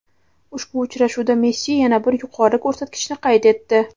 Ushbu uchrashuvda Messi yana bir yuqori ko‘rsatkichni qayd etdi.